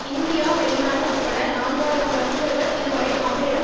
India வெளிநாடு உட்பட நான்கு ஆயிரம் ரசிகர்கள் இதுவரை அவரிடம்